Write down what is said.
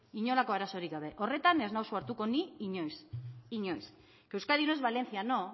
horretan ez nauzue hartuko ni inoiz euskadi no es valencia no